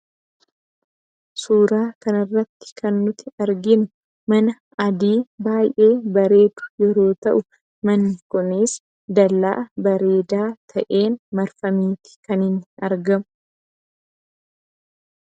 Suuraa kana irratti kan nuti arginu mana adii baay'ee bareedu yoo ta'u, manni kunis dallaa bareedaa ta'een marfameetu argama.